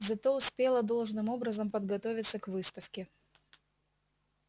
зато успела должным образом подготовиться к выставке